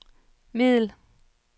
middel